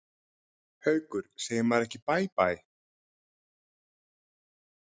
Haukur: Segir maður ekki bæ bæ?